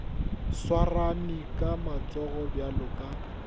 swarane ka matsogo bjalo ka